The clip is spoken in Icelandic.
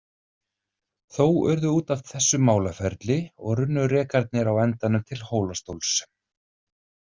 Þó urðu út af þessu málaferli og runnu rekarnir á endanum til Hólastóls.